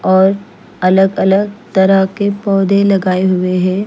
और अलग अलग तरह के पोधे लगाये हुए है।